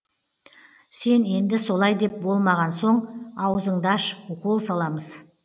сен енді солай деп болмаған соң ауызыңды аш укол саламыз